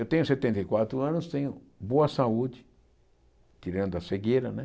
Eu tenho setenta e quatro anos, tenho boa saúde, tirando a cegueira né.